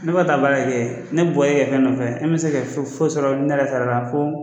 Ne bɛ ka taa baara k'e ye, ne ka bɔ e ka fɛn nɔfɛ, e mɛ se ka foyi fosi sɔrɔ ne yɛrɛ sara la fɔ